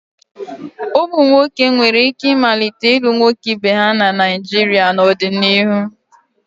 Ụmụ nwoke nwere ike ịmalite ịlụ nwoke ibe ha na Naijiria n'ọdịnihu.